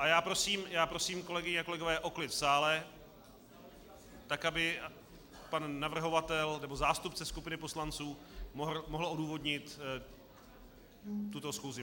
A já prosím, kolegyně a kolegové, o klid v sále, tak aby pan navrhovatel, nebo zástupce skupiny poslanců, mohl odůvodnit tuto schůzi.